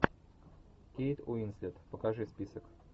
кейт уинслет покажи список